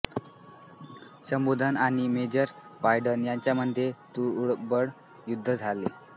शंभूधन आणि major Wade यांच्यामध्ये तुंबळ युद्ध झाले